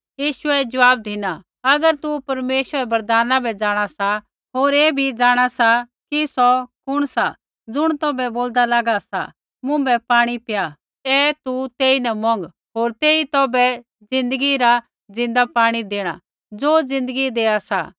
यीशुऐ ज़वाब धिना अगर तू परमेश्वरै रै वरदाना बै जाँणा सा होर ऐ भी जाँणा सा कि सौ कुण सा ज़ुण तौभै बोलदा लागा सा मुँभै पाणी पीया ऐ तू तेईन मौंग होर तेई तौभै ज़िन्दगी रा ज़िन्दा पाणी देणा ज़ो ज़िन्दगी देआ सा